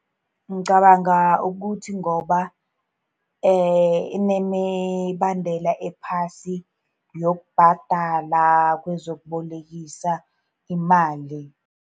Ngicabanga ukuthi ngoba inemibandela ephasi yokubhadala kwezokubolekisa imali.